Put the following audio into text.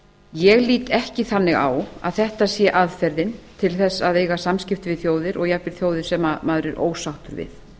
ég lít ekki þannig á að þetta sé aðferðin til að eiga samskipti við þjóðir og jafnvel þjóðir sem maður er ósáttur við